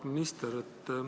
Auväärt minister!